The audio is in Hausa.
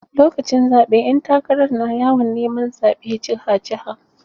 Lokacin zaɓe ƴan takarar na yawon neman zaɓe jiha jiha.